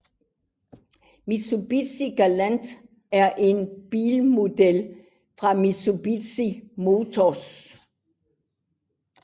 Mitsubishi Galant er en bilmodel fra Mitsubishi Motors